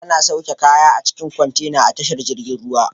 Ana sauke kaya a cikin kontrna a tashar jirgin ruwa